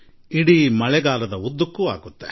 ನನ್ನ ಆತ್ಮೀಯ ದೇಶವಾಸಿಗಳೇ ನಿಮ್ಮೆಲ್ಲರಿಗೂ ನನ್ನ ನಮಸ್ಕಾರ